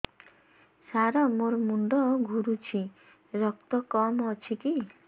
ସାର ମୋର ମୁଣ୍ଡ ଘୁରୁଛି ରକ୍ତ କମ ଅଛି କି